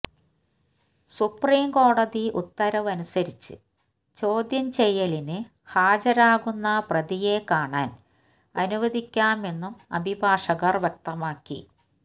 supreme കോടതി ഉത്തരവ് അനുസരിച്ച് ചോദ്യം ചെയ്യലിന് ഹാജരാകുന്ന പ്രതിയെ കാണാൻ അനുവദിക്കാമെന്നും അഭിഭാഷകർ വ്യക്തമാക്കി